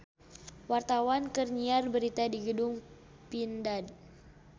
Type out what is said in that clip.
Wartawan keur nyiar berita di Gedung Pindad